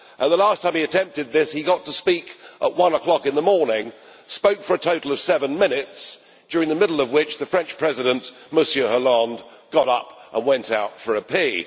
The last time he attempted this he got to speak at one o'clock in the morning, spoke for a total of seven minutes, in the middle of which the French President, Monsieur Hollande, got up and went out for a pee.